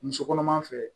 Muso kɔnɔma fɛ